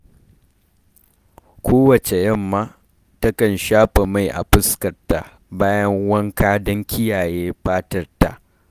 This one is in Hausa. Kowacce yamma, takan shafa mai a fuskarta bayan wanka don kiyaye fatarta.